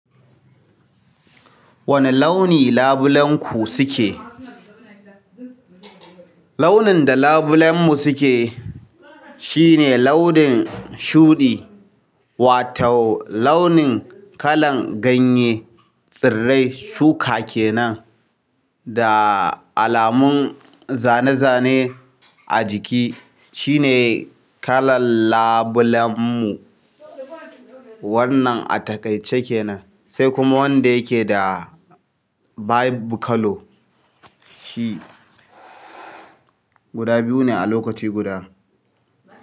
Wane launi labulenku suke? Launin da labulenmu suke shine launin shuɗi, wato launin kalan ganye, tsirrai, shuka kenan, da alamun zane-zane a jiki. Shi ne kalan labulenmu. Wannan a taƙaice kenan, sai kuma wanda yake da vibe color. Shi guda biyu ne a lokaci guda.